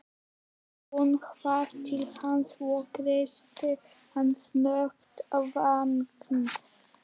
Hún hvarf til hans og kyssti hann snöggt á vangann.